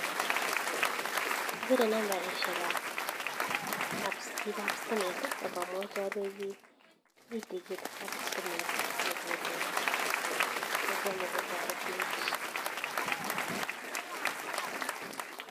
Apire nambarishec ak pik ab stimet akamwachi alechi mitei ketit ab stimet nokolul kobwa nyokotaretech